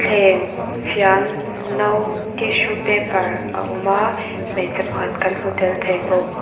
thleng fian no tissue paper a awm a hmeichhe pakhat kan hmu tel thei bawk.